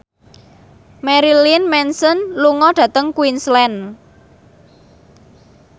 Marilyn Manson lunga dhateng Queensland